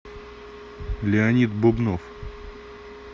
леонид бубнов